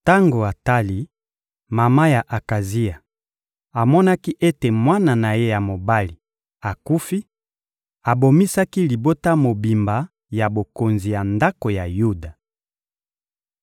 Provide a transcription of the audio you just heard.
Tango Atali, mama ya Akazia, amonaki ete mwana na ye ya mobali akufi, abomisaki libota mobimba ya bokonzi ya ndako ya Yuda.